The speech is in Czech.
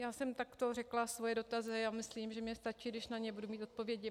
Já jsem takto řekla svoje dotazy a myslím, že mně stačí, když na ně budu mít odpovědi.